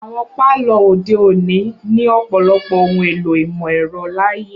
Awọn palọ ode oni ni ọ̀pọlọpọ ohun èlò imọ-ẹrọ laaye.